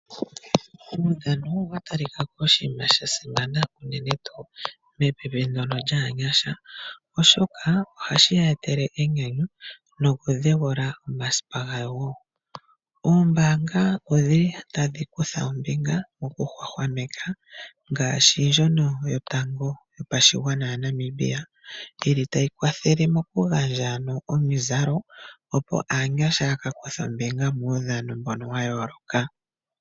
Omaudhano oga ta li kako oshinima sha simana uunene tuu mepipi ndono lyaanyasha, oshoka ohashi ya etele enyanyu nokudheula omasipa gawo wo. Oombaanga odhi li tadhi kutha ombinga mokuhwahwameka ngaashi ndjono yotango yopashigwana yaNamibia yili tayi kwathele moku gandja no omizalo, opo aanyasha ya ka kuthe ombinga muudhano mbono wa yooloka.